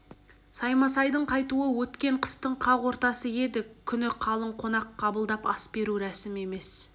саймасайдың қайтуы өткен қыстың қақ ортасы еді қысты күні қалың қонақ қабылдап ас беру рәсім емес